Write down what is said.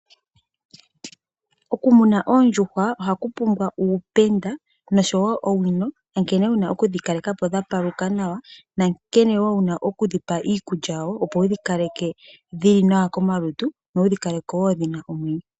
Okumuna oondjuhwa ohaku pumbwa uupenda noshowo owino ya nkene wuna okudhi kalekapo dha paluka nawa nankene woo wuna okudhi pa iikulya woo opo wudhi kaleke dhili nawa komalutu nowudhi kaleke wo dhina omwenyo.